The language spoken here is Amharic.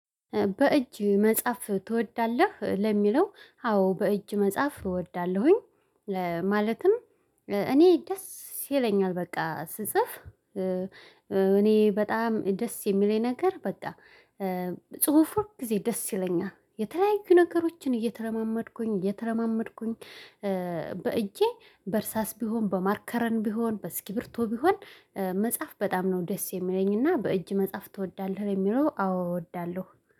በእጅ መጽሐፍ ትወዳለህ? ለሚለው አዎ በእጅ መጽሐፍ እወዳለሁኝ። ለማለትም እኔ ደስ ይለኛል በቃ ስጽፍ እኔ በጣም ደስ የሚለኝ ነገር በቃ ጽሁፍ ሁልጊዜ ደስ ይለኛል የተለያዩ ነገሮችን እየተረማመድኩኝ እየተረማመድኩኝ በእጄ በእርሳስ ቢሆን በማርከረን ቢሆን በስኪብርቶ ቢሆን መጽሐፍ በጣም ነው ደስ የሚለኝና በእጅ መጽሐፍ ትወዳለህ የሚለው አዎ እወዳለሁ።